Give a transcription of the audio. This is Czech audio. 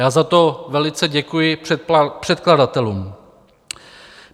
Já za to velice děkuji předkladatelům.